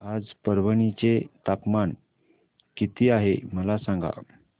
आज परभणी चे तापमान किती आहे मला सांगा